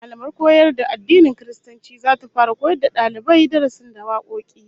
Mallamar koyar da addinin Kiristanci zata fara koyawa dalibai darasin da wakoki